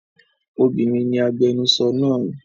Obinrin ni agbẹnusọro naa.